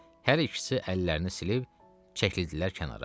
Hər ikisi əllərini silib çəkildilər kənara.